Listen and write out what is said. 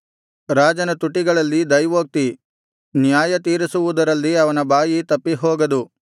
ರಾಜನ ತುಟಿಗಳಲ್ಲಿ ದೈವೋಕ್ತಿ ನ್ಯಾಯತೀರಿಸುವುದರಲ್ಲಿ ಅವನ ಬಾಯಿ ತಪ್ಪಿಹೋಗದು